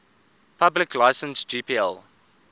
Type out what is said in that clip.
public license gpl